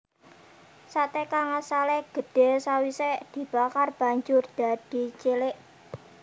Sate kang asale gedhe sawise dibakar banjur dadi cilik